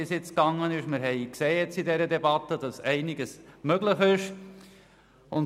Wir haben jetzt in der Debatte gesehen, dass einiges möglich ist.